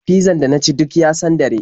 Fizzan da na ci duk ya sandare.